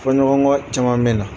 Fɔɲɔgɔnkɔ caman me na.